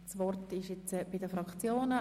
Das Wort ist bei den Fraktionen.